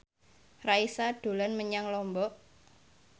Raisa dolan menyang Lombok